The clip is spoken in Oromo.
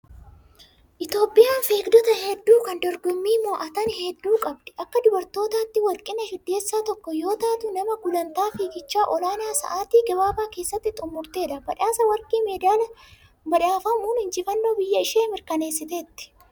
Itoophiyaan fiigdota hedduu kan dorgomanii moo'atan hedduu qabdi. Akka dubartootaatti Warqineesh Iddeessaa tokko yoo taatu, nama gulantaa fiigichaa olaanaa sa'aatii gabaabaa keessatti xumurtedha. Badhaasa warqii medaalaa badhaafamuun injifannoo biyya ishee mirkaneessiteetti.